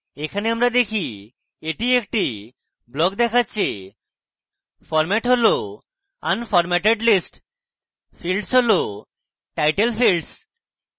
এখানে আমরা দেখি এটি একটি block দেখাচ্ছে format হল unformatted list fields হল title fields